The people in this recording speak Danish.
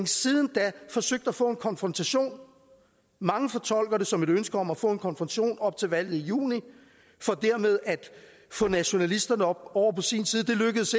siden da forsøgt at få en konfrontation mange fortolker det som et ønske om at få en konfrontation op til valget i juni for dermed at få nationalisterne over på sin side det lykkedes